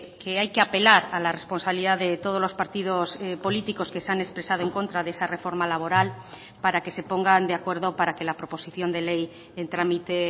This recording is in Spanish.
que hay que apelar a la responsabilidad de todos los partidos políticos que se han expresado en contra de esa reforma laboral para que se pongan de acuerdo para que la proposición de ley en trámite